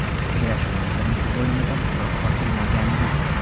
Uchrashuvning birinchi bo‘limida hisob ochilmagandi.